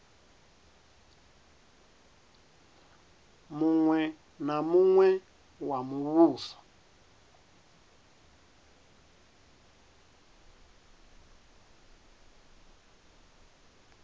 muṅwe na muṅwe wa muvhuso